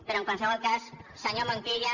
però en qualsevol cas senyor montilla